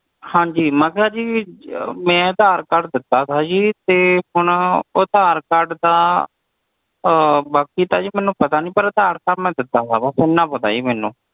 ਹਾਂਜੀ ਮੈਂ ਕਿਹਾ ਜੀ ਮੈਂ ਅਧਾਰ card ਦਿੱਤਾ ਤਾ ਜੀ ਤੇ ਹੁਣ ਉਹ ਅਧਾਰ card ਦਾ ਬਾਕੀ ਤਾ ਜੀ ਮੈਨੂੰ ਤਾ ਨੀ ਪਰ ਅਧਾਰ card ਤਾ ਮੈਂ ਦਿੱਤਾ ਤਾ ਓਨਾ ਪਤਾ ਜੀ ਮੈਨੂੰ